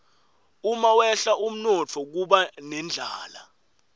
umawehla umnotfo kuba nendlala